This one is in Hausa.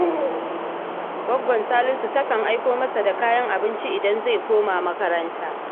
Gwaggon Salisu takan aiko masa da kayan abinci idan zai koma makaranta